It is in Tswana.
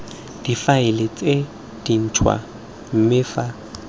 difaele tse dintšhwa mme fa